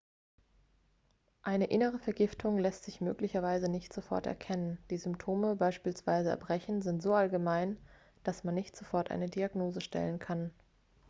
eine innere vergiftung lässt sich möglicherweise nicht sofort erkennen die symptome beispielsweise erbrechen sind so allgemein dass man nicht sofort eine diagnose stellen kann